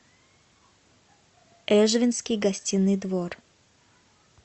эжвинский гостиный двор